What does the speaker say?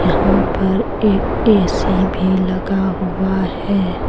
यहां पर एक ए_सी भी लगा हुआ है।